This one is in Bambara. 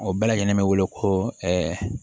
O bɛɛ lajɛlen bɛ wele ko